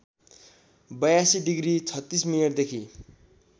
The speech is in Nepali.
८२ डिग्री ३६ मिनेटदेखि